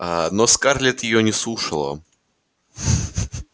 аа но скарлетт её не слушала